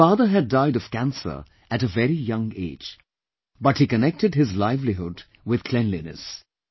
His father had died of cancer at a very young age but he connected his livelihood with cleanliness